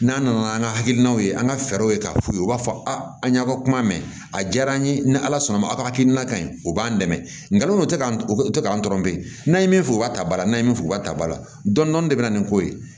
N'an nana an ka hakilinaw ye an ka fɛɛrɛw ye k'a f'u ye u b'a fɔ a an ɲa ka kuma mɛn a diyara an ye ni ala sɔnna ma aw ka hakilina kaɲi u b'an dɛmɛ nkalon tɛ ka u tɛ k'an tɔɔrɔ bilen n'a ye min fɔ u ka tabara n'a ye min bɛ fɔ u ka taba la dɔni dɔni de bɛ na ni ko ye